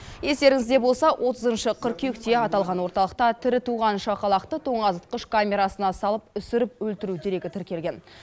естеріңізде болса отызыншы қыркүйекте аталған орталықта тірі туған шақалақты тоңазытқыш камерасына салып үсіріп өлтіру дерегі тіркелген